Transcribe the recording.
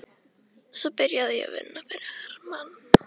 Svo byrjaði ég að vinna fyrir Hermann